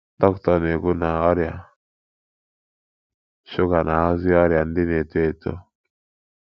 Dr na-ekwu na, Ọrịa shuga na-aghọzi ọrịa ndị na-eto eto